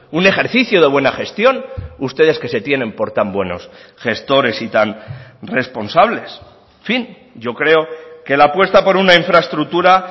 un ejercicio de buena gestión ustedes que se tienen por tan buenos gestores y tan responsables en fin yo creo que la apuesta por una infraestructura